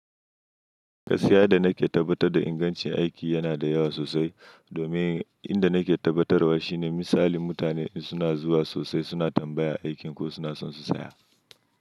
Gaskiya, yadda nake tabbatar da ingancin aiki yana da yawa sosai, domin inda nake tabbatarwa shine misalin mutane; idan suna zuwa sosai, suna tambaya aikin ko suna son su saya.